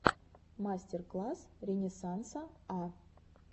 мастер класс ренессанса а